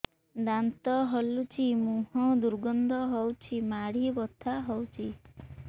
ଦାନ୍ତ ହଲୁଛି ମୁହଁ ଦୁର୍ଗନ୍ଧ ହଉଚି ମାଢି ବଥା ହଉଚି